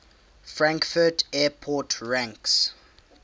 frankfurt airport ranks